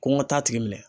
Ko n ka taa a tigi minɛ